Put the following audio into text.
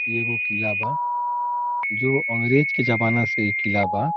इ एगो किला बा जो अंग्रेज के जमाना से इ किला बा।